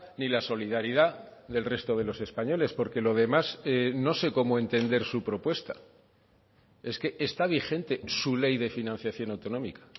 ni la solidaridad del resto de los españoles porque lo demás no sé cómo entender su propuesta es que está vigente su ley de financiación autonómica